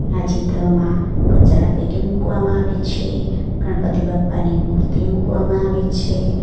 આ ચિત્રમાં કચરાપેટી મૂકવામાં આવે છે ગણપતિ બાપા ની મૂર્તિ મૂકવામાં આવે છે.